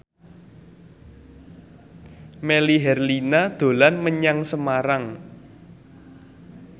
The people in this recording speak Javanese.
Melly Herlina dolan menyang Semarang